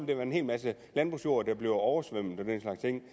det være en hel masse landbrugsjord der bliver oversvømmet